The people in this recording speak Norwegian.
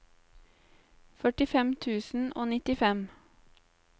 førtifem tusen og nittifem